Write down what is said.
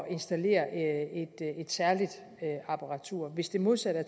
installere et særligt apparatur hvis det modsatte